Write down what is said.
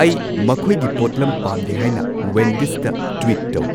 ꯑꯩ ꯃꯈꯣꯏꯒꯤ ꯄꯣꯠꯂꯝ ꯄꯥꯝꯗꯦ ꯍꯥꯏꯅ ꯋꯦꯟꯗꯤꯁꯗ ꯇ꯭ꯋꯤꯠ ꯇꯧ